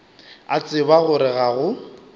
a tseba gore ga go